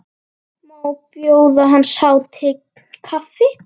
Má bjóða hans hátign kaffi?